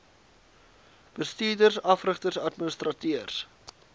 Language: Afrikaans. bestuurders afrigters administrateurs